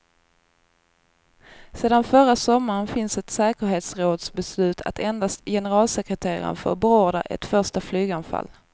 Sedan förra sommaren finns ett säkerhetsrådsbeslut att endast generalsekreteraren får beordra ett första flyganfall.